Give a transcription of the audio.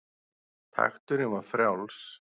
Takturinn var frjáls.